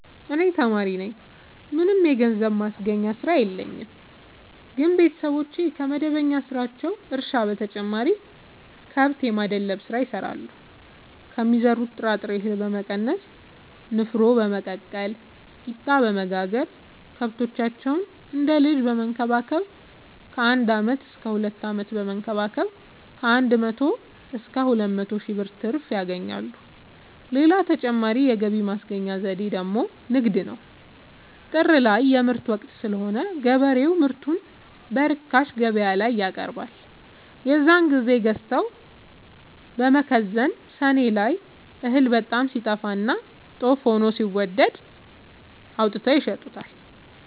እኔ ተማሪነኝ ምንም የገንዘብ ማስገኛ ስራ የለኝም ግን ቤተሰቦቼ ከመደበኛ ስራቸው እርሻ በተጨማሪ ከብት የማድለብ ስራ ይሰራሉ ከሚዘሩት ጥራጥሬ እሀል በመቀነስ ንፋኖ በመቀቀል ቂጣበወጋገር ከብቶቻቸውን እንደ ልጅ በመከባከብ ከአንድ አመት እስከ ሁለት አመት በመንከባከብ ከአንድ መቶ እስከ ሁለት መቶ ሺ ብር ትርፍ ያገኛሉ። ሌላ ተጨማሪ የገቢ ማስገኛ ዘዴ ደግሞ ንግድ ነው። ጥር ላይ የምርት ወቅት ስለሆነ ገበሬው ምርቱን በርካሽ ገበያላይ ያቀርባል። የዛን ግዜ ገዝተው በመከዘን ሰኔ ላይ እህል በጣም ሲጠፋና ጦፍ ሆኖ ሲወደድ አውጥተው ይሸጡታል።